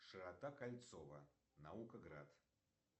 широта кольцова наукаград